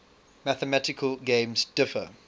mathematical games differ